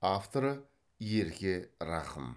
авторы ерке рахым